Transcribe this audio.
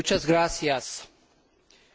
Kedves képviselőtársaim!